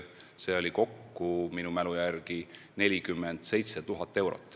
Seda on kokku minu mälu järgi 47 000 eurot.